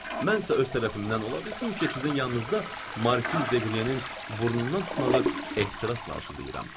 Mən isə öz tərəfimdən ola bilsin ki, sizin yanınızda Markiz Deqriyenin burnundan tutmağı ehtirasla arzulayıram.